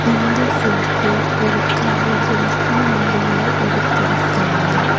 இந்த ஃபோட்டோ ஒரு கடைகளுக்கு நடுவுல எடுத்துருக்காங்க.